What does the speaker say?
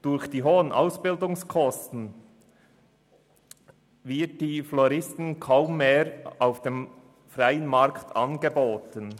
Durch die hohen Ausbildungskosten wird die Floristinnenlehre kaum mehr auf dem freien Markt angeboten.